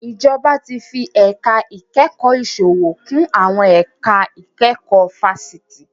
Ìjọba tí fi ẹ̀ka ìkẹ́kọ̀ọ́ ìsòwò kún àwọn ẹ̀ka ìkẹ́kọ̀ọ́ fáṣítì